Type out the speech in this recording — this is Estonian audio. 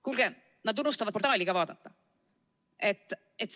Kuulge, nad unustavad portaali ka vaadata!